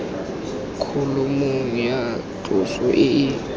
kholomong ya tloso e e